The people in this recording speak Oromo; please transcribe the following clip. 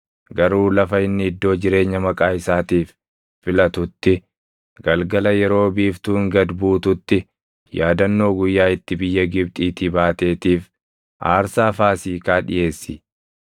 garuu lafa inni iddoo jireenya Maqaa isaatiif filatutti galgala yeroo biiftuun gad buututti yaadannoo guyyaa itti biyya Gibxiitii baateetiif aarsaa Faasiikaa dhiʼeessi.